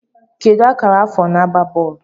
Kedu akara afọ na-agba bọọlụ